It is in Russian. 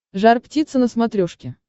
жар птица на смотрешке